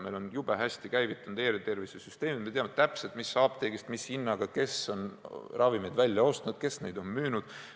Meil on jube hästi käivitunud e-tervisesüsteem, me teame täpselt, mis apteegist mis hinnaga kes on ravimid välja ostnud, kes neid on müünud.